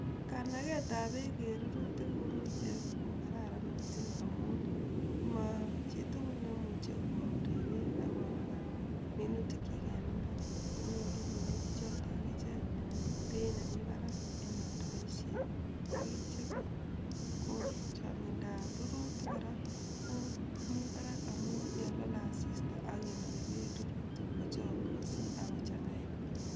Kanagetab beek en rurutik komitei ko Kararan mising amun, mo chii tugul nemuchi kore beek akonaka minutikyik en mbar konyoru minuti choto akichek beit nemi barak en oldoisiet, ak ityo any ko chongindab rurutik kora ko mi barak amun yo lole asista agenoki beek rurutik kochogu mising ak kochanga en mbar.